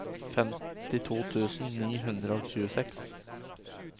femtito tusen ni hundre og tjueseks